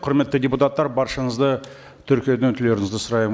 құрметті депутаттар баршаңызды тіркеуден өтулеріңізді сұраймын